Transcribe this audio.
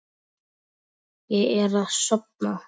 Ég er að sofna.